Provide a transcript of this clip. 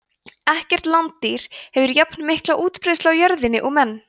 ekkert landdýr hefur jafnmikla útbreiðslu á jörðinni og menn